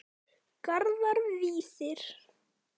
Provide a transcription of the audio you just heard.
Garðar Víðir.